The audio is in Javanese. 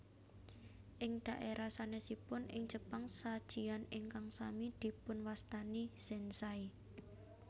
Ing dhaérah sanèsipun ing Jepang sajian ingkang sami dipunwastani zenzai